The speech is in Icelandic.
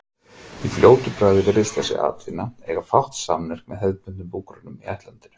Í fljótu bragði virðist þessi atvinna eiga fátt sammerkt með hefðbundnum búgreinum í ættlandinu.